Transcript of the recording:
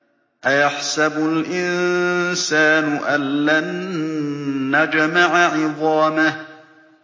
أَيَحْسَبُ الْإِنسَانُ أَلَّن نَّجْمَعَ عِظَامَهُ